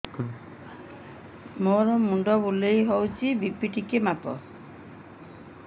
ମୋ ମୁଣ୍ଡ ବୁଲେଇ ହଉଚି ବି.ପି ଟିକେ ମାପ